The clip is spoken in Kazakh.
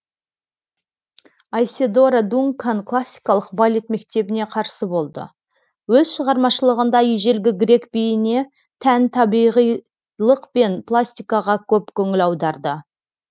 айседора дункан классикалық балет мектебіне қарсы болды өз шығармашылығында ежелгі грек биіне тән табиғилық пен пластикаға көп көңіл аударды